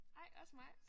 Ej også mig